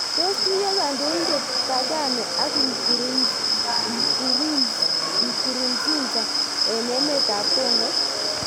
Tos tuyo kandoindet Kagame ak Nkurunzinza eng emet ap Congo